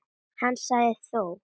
Hann sagði þó